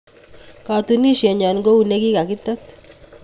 Katunisienyo ko u ne ki kaketet